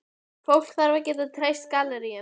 Fólk þarf að geta treyst galleríunum.